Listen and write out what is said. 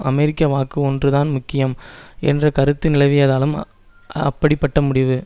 அமெரிக்க வாக்கு ஒன்றுதான் முக்கியம் என்ற கருத்து நிலவியதாலும் அப்படிப்பட்ட முடிவு